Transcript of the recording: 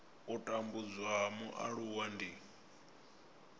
u tambudzwa ha mualuwa ndi